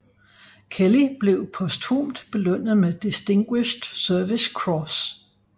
Kelly blev posthumt belønnet med Distinguished Service Cross